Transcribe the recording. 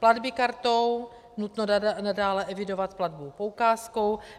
Platby kartou, nutno nadále evidovat platbu poukázkou.